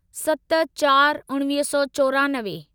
सत चार उणिवीह सौ चोरानवे